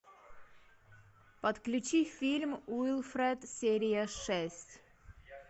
подключи фильм уилфред серия шесть